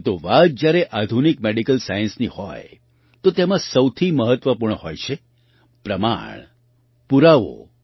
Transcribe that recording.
પરંતુ વાત જ્યારે આધુનિક મેડિકલ સાયન્સની હોય તો તેમાં સૌથી મહત્ત્વપૂર્ણ હોય છે પ્રમાણ પુરાવો